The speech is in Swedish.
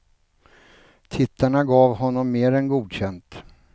Tittarna gav honom mer än godkänt.